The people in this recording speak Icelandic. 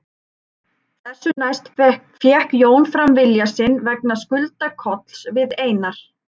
Þessu næst fékk Jón fram vilja sinn vegna skulda Kolls við Einar